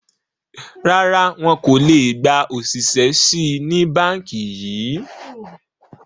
Rárá, wọn kò le gba òṣìṣẹ́ síí ni Báńkì yìí